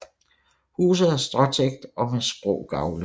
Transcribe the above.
Huset er stråtægt og med skrå gavle